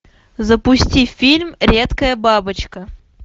запусти фильм редкая бабочка